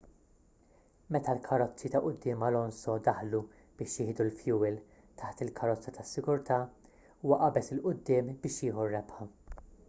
meta l-karozzi ta' quddiem alonso daħlu biex jieħdu l-fjuwil taħt il-karozza tas-sigurtà huwa qabeż il quddiem biex jieħu r-rebħa